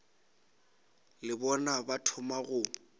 le bona ba thoma go